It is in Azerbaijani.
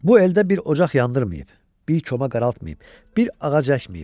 Bu eldə bir ocaq yandırmayıb, bir koma qaraltmayıb, bir ağac əkməyib.